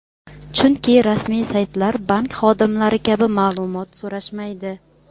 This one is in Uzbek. Chunki rasmiy saytlar bank xodimlari kabi ma’lumot so‘rashmaydi.